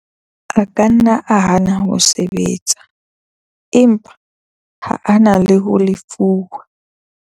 A ka nna a hana ho sebetsa, empa ha a na ho lefuwa.